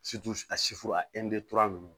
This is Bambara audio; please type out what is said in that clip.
a a ninnu